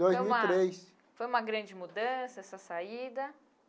Dois mil e três. Foi uma grande mudança essa saída?